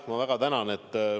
Ma väga tänan!